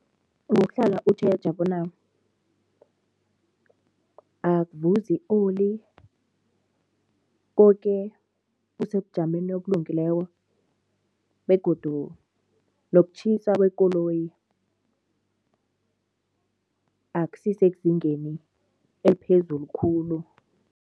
Ngokuhlala utjheja bona akuvuzi i-oli, koke kusebujameni obulungileko begodu nokutjhisa kwekoloyi akusisezingeni eliphezulu khulu.